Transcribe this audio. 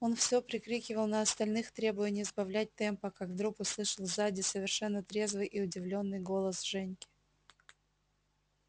он всё прикрикивал на остальных требуя не сбавлять темпа как вдруг услышал сзади совершенно трезвый и удивлённый голос женьки